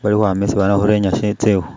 bali ukhwama isi bamakhurenya tsikhu.